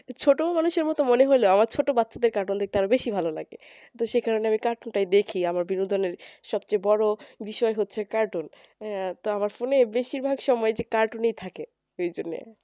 ছোটো মানুষের মতো মনে হলেও আমার ছোট বাচ্চাদের cartoon দেখতে আরো বেশি ভালো লাগে তো সে কারণে আমি cartoon টাই বেশি দেখি আমার বিনোদনের সব চেয়ে বড়ো বিষয় হচ্ছে cartoon হ্যাঁ তো আমার phone এ বেশির ভাগ সময় cartoon ই থাকে